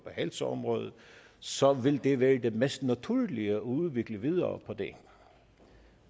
helseområdet så vil det være det mest naturlige at udvikle videre på det